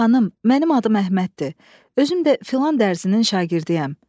Xanım, mənim adım Əhməddir, özüm də filan dərzinin şagirdiyəm.